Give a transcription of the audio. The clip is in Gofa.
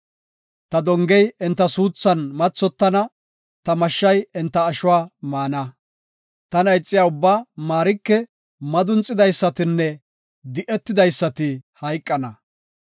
Ta dongey enta suuthan mathotana; ta mashshay enta ashuwa maana. Tana ixiya ubbaa maarike; madunxidaysatinne di7etidaysati hayqana.”